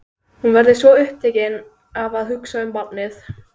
Hún verður svo upptekin af að hugsa um barnið.